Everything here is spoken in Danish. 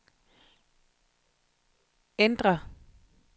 ændr